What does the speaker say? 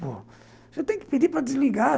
Você tem que pedir para desligar.